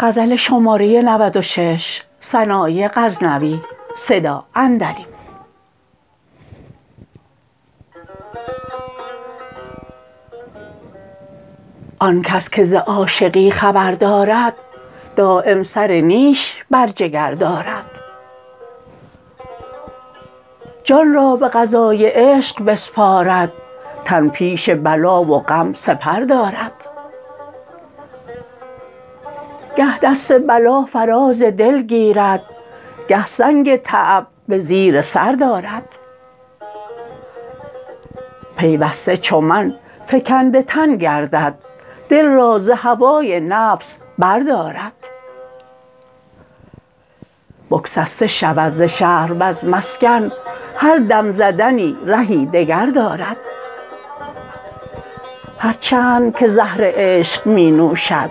آنکس که ز عاشقی خبر دارد دایم سر نیش بر جگر دارد جان را به قضای عشق بسپارد تن پیش بلا و غم سپر دارد گه دست بلا فراز دل گیرد گه سنگ تعب به زیر سر دارد پیوسته چو من فگنده تن گردد دل را ز هوای نفس بر دارد بگسسته شود ز شهر و ز مسکن هر دم زدنی رهی دگر دارد هر چند که زهر عشق می نوشد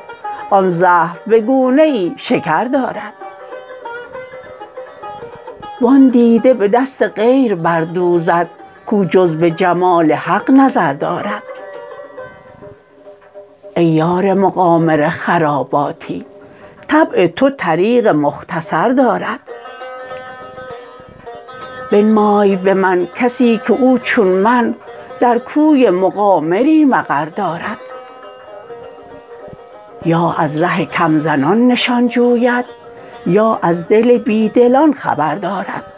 آن زهر به گونه شکر دارد وان دیده به دست غیر بردوزد کو جز به جمال حق نظر دارد ای یار مقامر خراباتی طبع تو طریق مختصر دارد بنمای به من کسی که او چون من در کوی مقامری مقر دارد یا از ره کم زنان نشان جوید یا از دل بی دلان خبر دارد